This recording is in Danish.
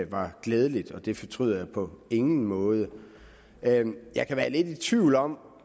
var glædeligt og det fortryder jeg på ingen måde jeg kan være lidt i tvivl om